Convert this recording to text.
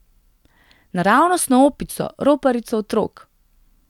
Naravnost na opico, roparico otrok!